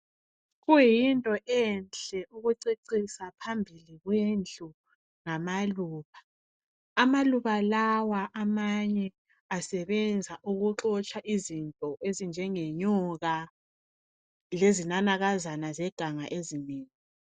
Kuyinto enhle ukucecisa phambili kwendlu ngamaluba. Amaluba lawa amanye asebenza ukuxotsha izinto ezinjengenyoka lezinanakazana zeganga ezinengi.